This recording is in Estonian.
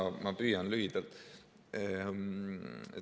Jaa, ma püüan lühidalt.